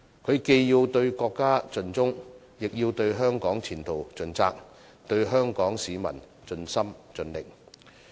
他既要對國家盡忠，亦要對香港前途盡責，對香港市民盡心盡力。